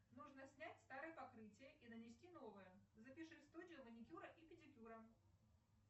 нужно снять старое покрытие и нанести новое запиши в студию маникюра и педикюра